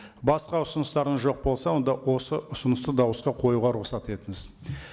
басқа ұсыныстарыңыз жоқ болса онда осы ұсынысты дауысқа қоюға рұқсат етіңіз